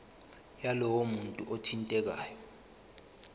yalowo muntu othintekayo